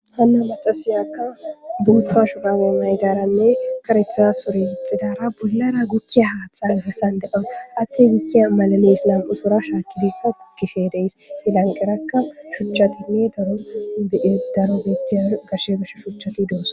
han macasiyakka botha shurabe mayidara nne karetha sure gixidara bollara gogiya hatha garissani deyaus hathayi gukiya nam'u soora shakidi gogeshe deyesi i lanqeraka shuchatinne darro betiya shuchati deyosona